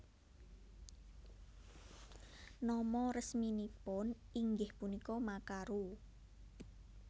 Nama resminipun inggih punika Makaru